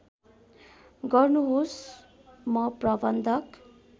गर्नुहोस् म प्रबन्धक